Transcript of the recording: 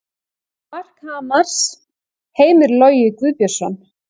Mark Hamars: Heimir Logi Guðbjörnsson